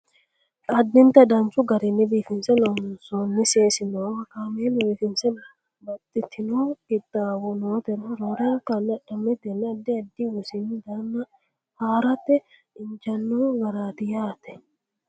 addinta danchu garinni biifinse loonsoonni seesi noowa kameela biifinse baxxitino qixxaawo nootera roorenka adhamatenna addi ddi wosini daanna haarate injaanno garaati yaate